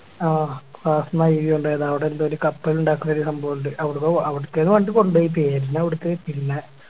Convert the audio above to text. ആ Class ന്ന് IV കൊണ്ടോയത് അവിടെ എന്തോ ഒര് കപ്പലുണ്ടാക്കുന്ന ഒരു സംഭവമുണ്ട് അവിടുക്ക് അവിടുക്കരുന്ന് പണ്ട് കൊണ്ടോയിറ്റ് എനി അവിടുത്തെ പിന്നെ